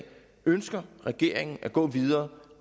ønsker regeringen at gå videre